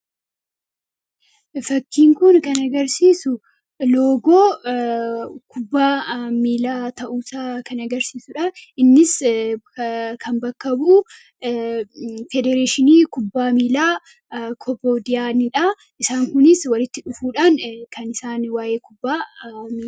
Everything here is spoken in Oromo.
fakkiin kun kan agarsiisu loogoo kubbaa miilaa ta'uusa kan agarsiisuudha innis kan bakka bu'uu federeeshinii kubbaa miilaa kobodiyaaniidhaa isaan kunis walitti dhufuudhaan kan isaan waa'ee kubbaa